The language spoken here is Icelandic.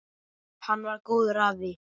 Hann var góður afi.